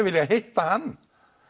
viljað hitta hann